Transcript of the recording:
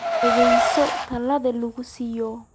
Dhageyso talada lagu siiyay.